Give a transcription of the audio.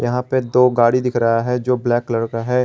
यहाँ पे दो गाड़ी दिख रहा है जो ब्लैक कलर का है।